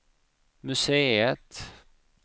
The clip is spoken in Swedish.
museet